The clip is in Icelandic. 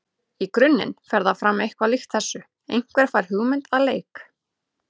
Í grunninn fer það fram eitthvað líkt þessu: Einhver fær hugmynd að leik.